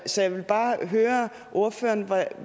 så jeg vil bare høre ordføreren